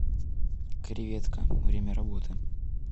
креветка время работы